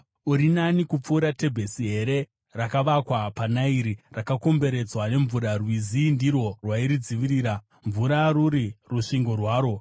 Uri nani kupfuura Tebhesi here, rakavakwa paNairi, rakakomberedzwa nemvura? Rwizi ndirwo rwairidzivirira, mvura iri rusvingo rwaro.